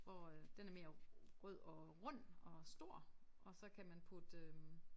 Hvor øh den er mere rød og rund og stor og så kan man putte øh